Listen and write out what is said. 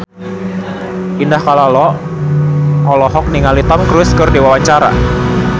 Indah Kalalo olohok ningali Tom Cruise keur diwawancara